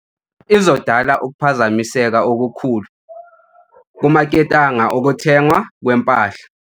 Izodala ukuphazamiseka okukhulu kumaketanga okuthengwa kwempahla.